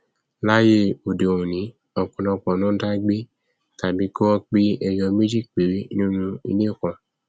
láíyé òde òní ọpọlọpọ ló ndá gbé tàbí kí wọn pé ẹyọ méjì péré nínú ilé kan